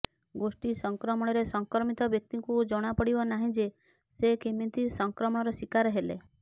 ଗୋଷ୍ଠୀ ସଂକ୍ରମଣରେ ସଂକ୍ରମିତ ବ୍ୟକ୍ତିଙ୍କୁ ଜଣା ପଡିବ ନାହିଁ ଯେ ସେ କେମିତି ସଂକ୍ରମଣର ଶିକାର ହେଲେ